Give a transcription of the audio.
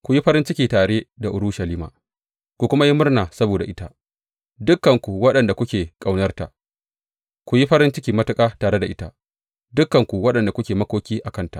Ku yi farin ciki tare da Urushalima ku kuma yi murna saboda ita, dukanku waɗanda kuke ƙaunarta; ku yi farin ciki matuƙa tare da ita, dukanku waɗanda kuke makoki a kanta.